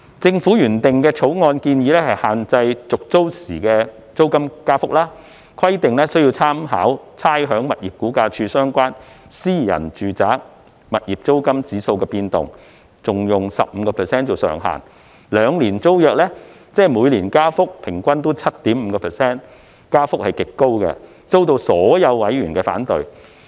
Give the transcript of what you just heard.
政府原訂的《條例草案》，建議限制續租時的租金增幅，規定須參考差餉物業估價署相關私人住宅物業租金指數的變動，並以 15% 上限，兩年租約，即每年加幅平均為 7.5%， 增幅極高，遭到所有委員反對。